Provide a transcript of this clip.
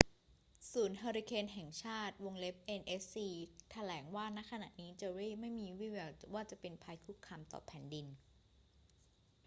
ศูนย์เฮอร์ริเคนแห่งชาติ nhc แถลงว่า ณ ขณะนี้เจอร์รี่ไม่มีวี่แววว่าจะเป็นภัยคุกคามต่อแผ่นดิน